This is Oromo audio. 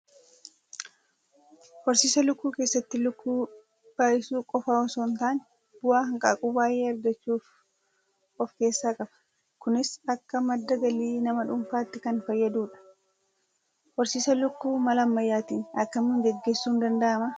Horiisa lukkuu keessatti lukkuu baay'isuu qofaa osoo hin taane bu'aa hanqaaquu baay'ee argachuus of keessaa qaba. Kunis akka madda galii nama dhuunfaatti kan fayyadudha. Horsiisa lukkuu mala ammayyaatiin akkamiin gaggeessuun danda'amaa?